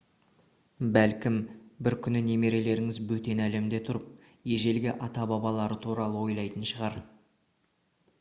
бәлкім бір күні немерелеріңіз бөтен әлемде тұрып ежелгі ата-бабалары туралы ойлайтын шығар